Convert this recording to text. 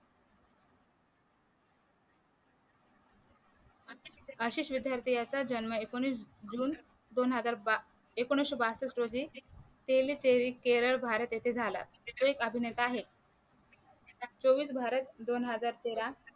असेच विध्यार्थी असतात है ज्यांना जुन दोन हजार बा एकोणविशे बासष्ठ रोजी तेली केरळ भारत येथे झाला तो एक अभिनेता आहे चोवीस बारा दोन हजार तेरा